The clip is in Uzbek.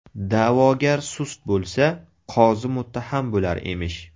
Da’vogar sust bo‘lsa, qozi muttaham bo‘lar emish.